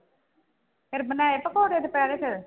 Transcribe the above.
ਫਿਰ ਬਣਾਏ ਪਕੋੜੇ ਦੁਪਹਿਰੇੇ ਫਿਰ?